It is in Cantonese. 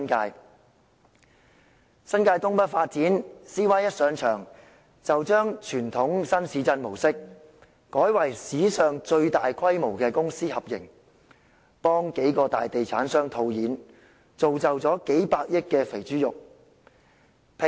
至於新界東北發展計劃 ，CY 剛上場，便將傳統新市鎮模式，改為史上最大規模的公私合營模式，替數個大地產商套現，造就數百億元的"肥豬肉"。